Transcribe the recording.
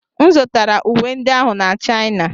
M zụtara uwe ndị ahụ na China.